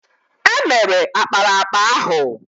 È mere ákpáraàkpà ahụ